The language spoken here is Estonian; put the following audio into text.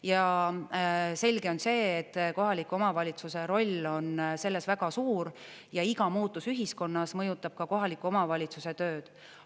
Ja selge on see, et kohaliku omavalitsuse roll on selles väga suur ja iga muutus ühiskonnas mõjutab ka kohaliku omavalitsuse tööd.